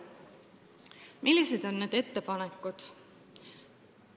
Millised on ettepanekud?